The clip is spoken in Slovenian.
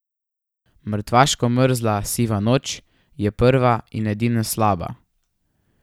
Mrtvaško mrzla siva noč je, prva in edina slaba.